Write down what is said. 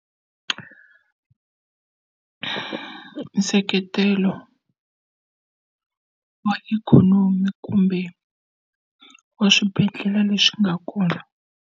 Nseketelo wa ikhonomi kumbe wa swibedhlele leswi nga kona.